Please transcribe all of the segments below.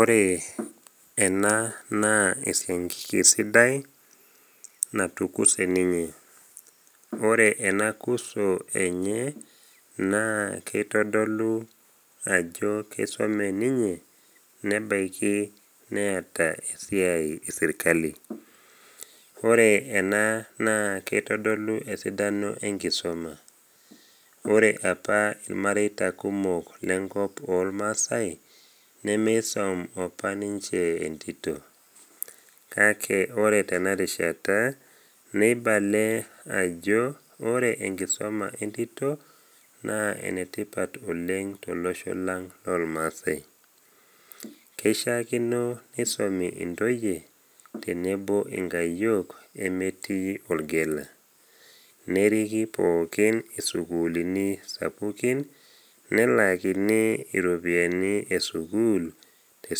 Ore ena bae naa enetipat oleng teramatare omukundani. Ore ake teniyiu neisho inkaitubulu inono neiu ilng’anayio kumok, naa tenireten emukunda ino oleng nirip sii embolea enye. Ore ena bae naa iyau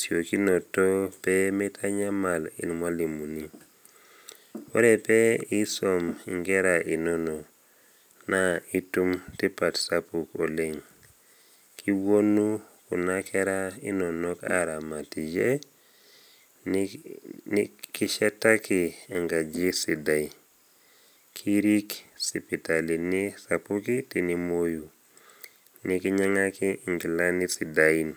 imasakar naatoito, ning’as atur emukunda apik ilainini ashu ilmutaroni ogut enkiti. Ore pee indip, nimbung’ nena masakar, nipik atua ilo mutaro ninukaa. Nincho erishata o wiiki are, ore intoki alotu aing’uraa, naa kinepu ajo etupurdate nena masakar neaku ninche embolea tenkulukuoni emukunda ino.